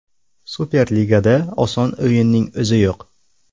Superligada oson o‘yinning o‘zi yo‘q.